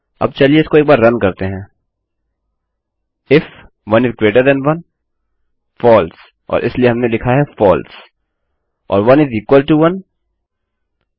अब चलिए इसको एक बार रन करते हैं इफ 1 इस ग्रेटर थान 1 यदि 1 1 से बड़ा है फलसे और इसलिए हमने लिखा है false or 1 is equal to 11 1 के बराबर है